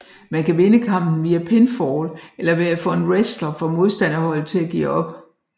Man kan vinde kampen via pinfall eller ved at få en wrestler fra modstanderholdet til at give op